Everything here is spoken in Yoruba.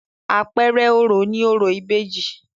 Àpẹẹrẹ orò ni orò ìbejì.